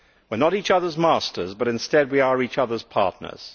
We are not each other's masters, but instead we are each other's partners.